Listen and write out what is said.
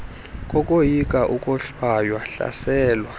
kokoyika ukohlwaywa hlaselwa